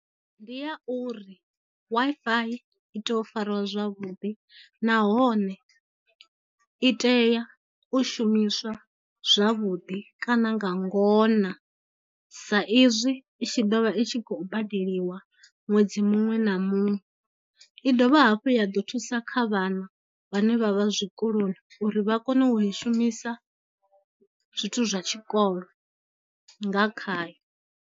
Ndi ya uri W_I_F_I i tea u fariwa zwavhuḓi, nahone i tea u shumiswa zwavhuḓi kana nga ngona sa izwi i tshi dovha i tshi khou badeliwa ṅwedzi muṅwe na muṅwe, i dovha hafhu ya ḓo thusa kha vhana vhane vha vha zwikoloni uri vha kone u i shumisa zwithu zwa tshikolo nga khayo.